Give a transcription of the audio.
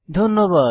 ধন্যবাদ